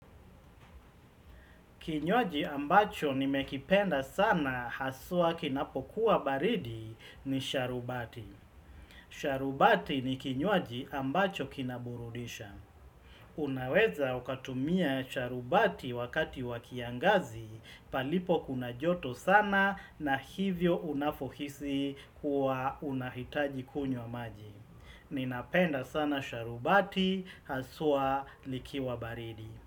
Kinywaji ambacho nimekipenda sana haswa kinapokuwa baridi ni sharubati. Sharubati ni kinyoaji ambacho kinaburudisha. Unaweza ukatumia sharubati wakati wakiangazi palipo kuna joto sana na hivyo unapohisi kuwa unahitaji kunywa maji. Ninapenda sana sharubati haswa likiwa baridi.